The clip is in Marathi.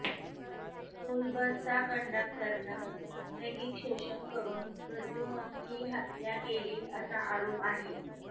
स्कूलबसचा कंडक्टरनं लैंगिक शोषन करुन प्रद्युम्नच्या हत्या केली असा आरोप आहे